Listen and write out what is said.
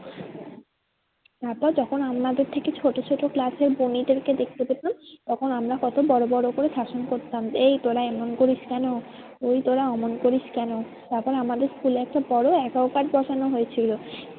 তারপর যখন আমাদের থেকে ছোটো ছোটো class এ বুনিদেরকে দেখতে পেতাম তখন আমরা কত বড়ো বড়ো করে শাসন করতাম এই তোরা এমন করিস কেন? ওই তোরা ওমন করিস কেন? তারপর আমাদের school এ একটা বড়ো aqua grade বসানো হয়েছিল।